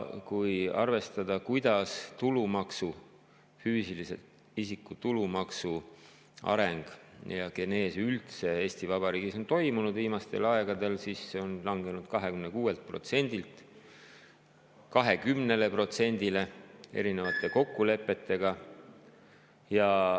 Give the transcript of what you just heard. Kui vaadata, kuidas füüsilise isiku tulumaksu areng ja genees üldse Eesti Vabariigis on toimunud viimastel aegadel, siis on näha, et see on langenud 26%‑lt 20%‑le erinevate kokkulepete tõttu.